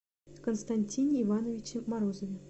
константине ивановиче морозове